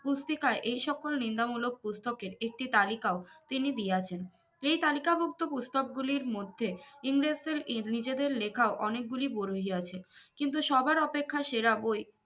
পুস্তিকায় এই সকল নিন্দামুলোক পুস্তকের একটি তালিকাও তিনি দিয়াছেন এই তালিকাভুক্ত পুস্তক গুলির মধ্যে ইংরেজদের নিজেদের লেখা অনেক গুলি বই আছে কিন্তু সবার অপেক্ষা সেরা বই